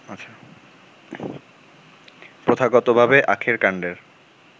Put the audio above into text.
প্রথাগতভাবে আখের কান্ডের